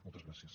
moltes gràcies